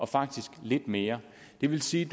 faktisk lidt mere det vil sige